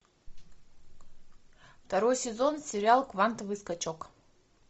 второй сезон сериал квантовый скачок